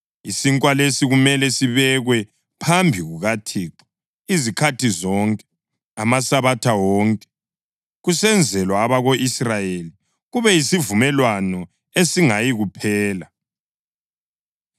Isinkwa lesi kumele sibekwe phambi kukaThixo izikhathi zonke, amaSabatha wonke, kusenzelwa abako-Israyeli, kube yisivumelwano esingayikuphela.